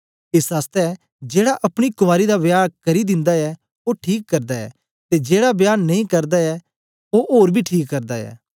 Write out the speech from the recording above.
एस आसतै जेड़ा अपनी कुँवारी दा विवाह करी दिन्दा ऐ ओ ठीक करदा ऐ ते जेड़ा विवाह नेई करदा ऐ ओ ओर बी ठीक करदा ऐ